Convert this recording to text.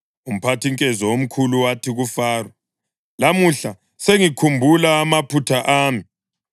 Umphathinkezo omkhulu wathi kuFaro, “Lamuhla sengikhumbula amaphutha ami.